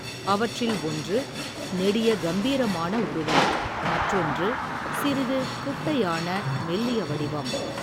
அவற்றில் ஒன்று, நெடிய கம்பீரமான உருவம், மற்றொன்று, சிறிது குட்டையான மெல்லிய வடிவம்.